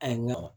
A ye nɔgɔn